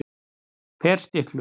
Ferstiklu